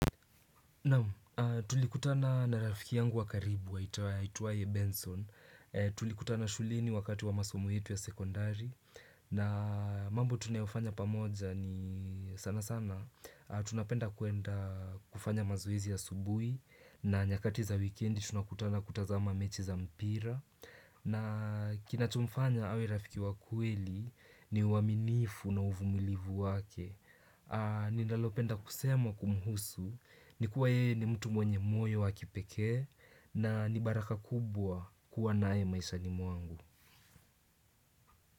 Naam tulikutana na rafiki yangu wa karibu wa aitwaye Benson, tulikutana shuleni wakati wa masomo yetu ya sekondari na mambo tunayofanya pamoja ni sana sana, tunapenda kuenda kufanya mazoezi asubuhi na nyakati za wikendi tunakutana kutazama mechi za mpira na kinachomfanya awe rafiki wa kweli ni uaminifu na uvumilivu wake ninalopenda kusema kumhusu ni kuwa yeye ni mtu mwenye moyo wa kipekee na ni baraka kubwa kuwa nae maishani mwangu.